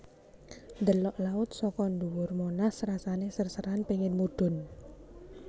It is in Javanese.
Ndelok laut soko ndhuwur Monas rasane ser seran pingin mudhun